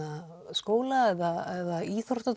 skóla eða